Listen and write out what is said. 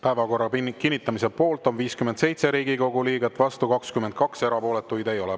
Päevakorra kinnitamise poolt on 57 Riigikogu liiget, vastu 22, erapooletuid ei ole.